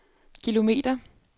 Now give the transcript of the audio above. kilometer